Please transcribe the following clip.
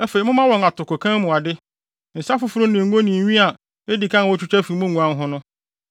Afei, momma wɔn mo atokokan mu ade, nsa foforo ne ngo ne nwi a edi kan a wotwitwa fi mo nguan ho no.